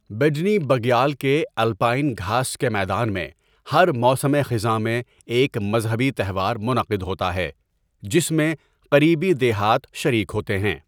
بیڈنی بگیال کے الپائن گھاس کے میدان میں ہر موسم خزاں میں ایک مذہبی تہوار منعقد ہوتا ہے جس میں قریبی دیہات شریک ہوتے ہیں۔